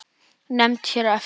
Nefnd hér eftir